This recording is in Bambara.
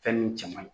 Fɛn nun cɛ man ɲi